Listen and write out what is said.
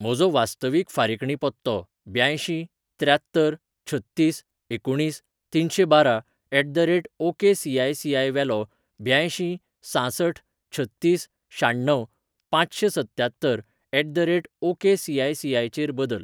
म्हजो वास्तवीक फारिकणी पत्तो ब्यांयशीं त्र्यात्तर छत्तीस एकुणीस तिनशेंबारा at the rate OKCI CI वेलो ब्यांयशीं सांसठ छत्तीस शाण्णव पांचशेंसत्त्यात्तर at the rate OK C I C I चेर बदल.